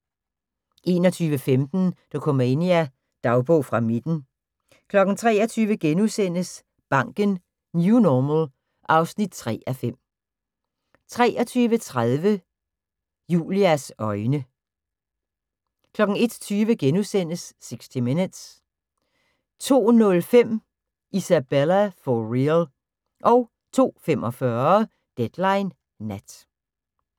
21:15: Dokumania: Dagbog fra midten 23:00: Banken - New Normal (3:5)* 23:30: Julias øjne 01:20: 60 Minutes * 02:05: Isabella – for real 02:45: Deadline Nat